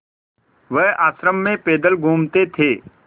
वह आश्रम में पैदल घूमते थे